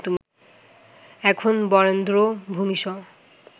এখন বরেন্দ্র ভূমিসহ